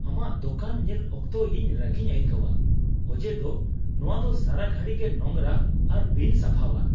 ᱟᱢᱟᱜ ᱫᱳᱠᱟᱱ ᱧᱮᱞ ᱚᱠᱛᱚ ᱤᱧ ᱨᱟᱹᱜᱤᱧ ᱟᱹᱭᱠᱟᱹᱣᱟ ᱚᱡᱮ ᱫᱚ ᱱᱚᱶᱟ ᱫᱚ ᱥᱟᱨᱟ ᱜᱷᱟᱹᱲᱤ ᱜᱮ ᱱᱚᱝᱨᱟ ᱟᱨ ᱵᱤᱱᱼᱥᱟᱯᱷᱟᱣᱟᱱ ᱾